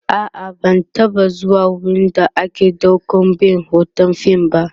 a'a ban taba zuwa wurin da ake ɗaukan be Hoton fim ba